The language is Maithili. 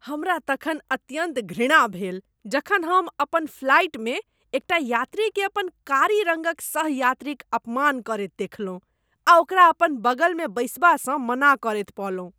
हमरा तखन अत्यन्त घृणा भेल जखन हम अपन फ्लाइटमे एकटा यात्रीकेँ अपन कारी रङ्गक सह यात्रीक अपमान करैत देखलहुँ आ ओकरा अपन बगलमे बैसबासँ मना करैत पौलहुँ।